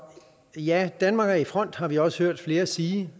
ja danmark er i front og vi også hørt flere sige